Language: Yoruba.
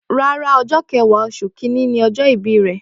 Rárá ọjọ kẹwa osun kínní ni ọjọ ìbí rẹ.